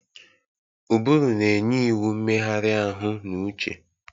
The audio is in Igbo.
Ụbụrụ na-enye iwu mmegharị ahụ na uche.